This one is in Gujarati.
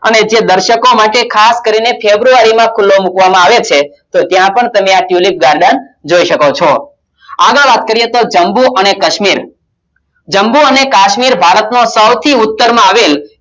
અને જે દર્શકો માટે ખાસ કરીને ફેબ્રુઆરીમાં ખુલ્લો મુકવામાં આવે છે તો ત્યાં પણ તમે આ tulip garden જોઈ શકો છો આગળ વાત કરીએ તો જમ્મુ અને કશ્મીર જમ્મુ અને કાશ્મીર ભારત નો સૌથી ઉત્તરમાં આવેલ